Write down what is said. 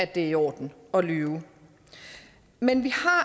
det er i orden at lyve men vi